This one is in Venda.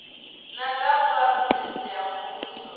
na dza vhugudisi ha muvhuso